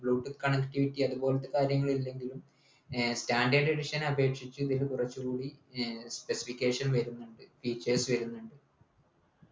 bluetooth connectiivity അതുപോലത്തെ കാര്യങ്ങളില്ലെങ്കിലും Air standard edition അപേക്ഷിച്ച് ഇത് കുറച്ച് കൂടി ഏർ specification വെരുന്നുണ്ട് features വരുന്നുണ്ട്